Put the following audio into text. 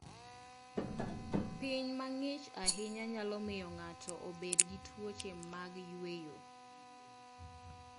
Piny mang'ich ahinya nyalo miyo ng'ato obed gi tuoche mag yueyo.